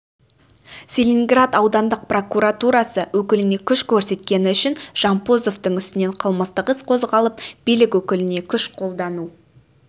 целиноград аудандық прокуратурасы өкіліне күш көрсеткені үшін жампозовтың үстінен қылмыстық іс қозғалып билік өкіліне күш қолдану